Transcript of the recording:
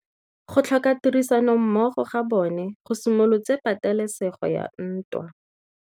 Go tlhoka tirsanommogo ga bone go simolotse patêlêsêgô ya ntwa.